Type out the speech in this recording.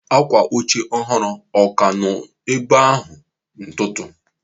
Akwa oche ọhụrụ ọ ka nọ ebe ahụ n'ụtụtụ?